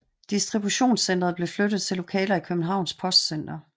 Distributionscentret blev flyttet til lokaler i Københavns Postcenter